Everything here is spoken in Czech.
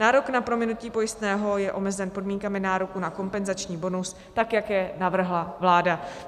Nárok na prominutí pojistného je omezen podmínkami nároku na kompenzační bonus, tak jak je navrhla vláda.